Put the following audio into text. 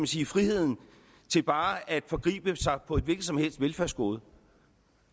sige friheden til bare at forgribe sig på et hvilket som helst velfærdsgode